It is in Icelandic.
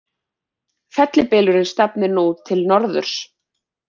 Fellibylurinn stefnir nú til norðurs